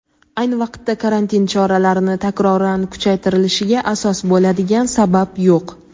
ayni vaqtda karantin choralarini takroran kuchaytirilishiga asos bo‘ladigan sabab yo‘q.